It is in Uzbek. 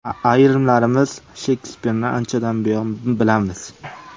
Ayrimlarimiz Shekspirni anchadan buyon bilamiz.